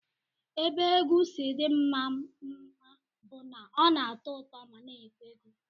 Ebe egwu si dị mma mma bụ na ọ na-atọ ụtọ ma na-enyekwa ego